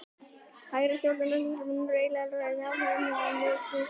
Hægra stjórnleysi á mun fleira sameiginlegt með nýfrjálshyggju en með vinstra stjórnleysi.